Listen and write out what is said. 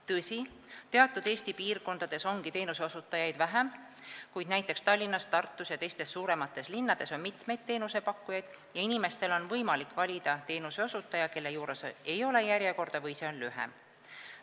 Tõsi, teatud Eesti piirkondades ongi teenuseosutajaid vähem, kuid näiteks Tallinnas, Tartus ja teistes suuremates linnades on mitmeid teenusepakkujaid ja inimestel on võimalik valida teenuseosutaja, kelle juures ei ole järjekorda või see on lühem.